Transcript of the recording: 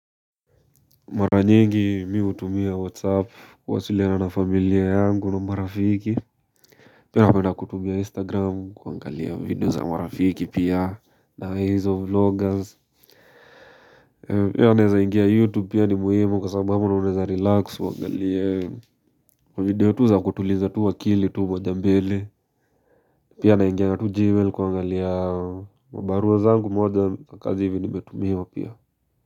Mara nyingi mi hutumia whatsapp kuwasiliana na familia yangu na marafiki pia napenda kutumia instagram kuangalia video za marafiki pia na hizo vloggers pia unaeza ingia youtube pia ni muhimu kwa sababu ama unaeza relax uangalie video tu za kutuliza tu akili tu moja mbele pia naingianga tu gmail kuangalia kwa barua zangu moja kwa kazi hivi nimetumiwa pia.